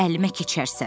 əlimə keçərsən.